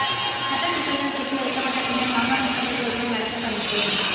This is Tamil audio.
சட்ட சிக்கல்கள் தீர்த்து வைக்கப்பட்ட பின்னர் மாகாண சபை தேர்தலை நடத்த பணிப்பு